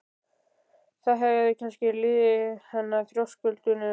Það hefði kannski liðið yfir hana á þröskuldinum.